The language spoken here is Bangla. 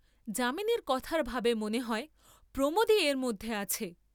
যামিনীর কথার ভাবে মনে হয় প্রমোদই এর মধ্যে আছে।